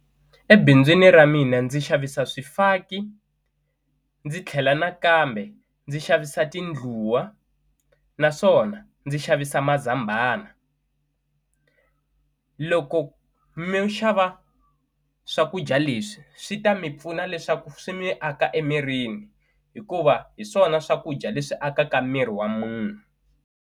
Ebindzwini ra mina ndzi xavisa swifaki ndzi tlhela nakambe ndzi xavisa tindluwa naswona ndzi xavisa mazambhana, loko mi xava swakudya leswi swi ta mi pfuna leswaku swi mi aka emirini hikuva hi swona swakudya leswi akaka miri wa munhu.